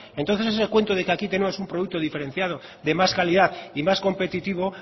entonces ese cuento de que aquí tenemos un producto diferenciado de más calidad y más competitivo